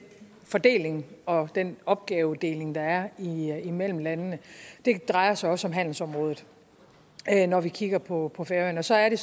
fordeling og den opgavedeling der er imellem landene det drejer sig også om handelsområdet når vi kigger på på færøerne og så er det